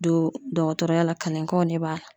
Don dɔgɔtɔrɔya la kalenkanw ne b'a la